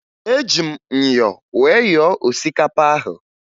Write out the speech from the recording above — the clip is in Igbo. Eji m myọ wee yọọ osikapa ahụ